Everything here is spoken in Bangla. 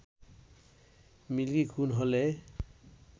মিল্কি খুন হলে